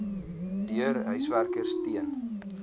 deur huiswerkers teen